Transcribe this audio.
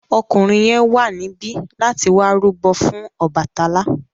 Ọkùnrin yẹn wà níbí láti wá rúbọ fún Ọbàtálá.